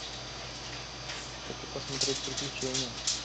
хочу посмотреть приключения